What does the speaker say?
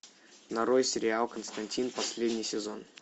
нарой сериал константин последний сезон